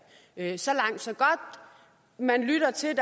er problemer så langt så godt man lytter til